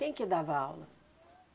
Quem que dava aula?